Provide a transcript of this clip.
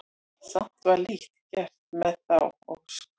Samt var lítt gert með þá ósk.